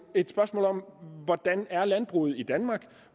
et spørgsmål om hvordan landbruget er i danmark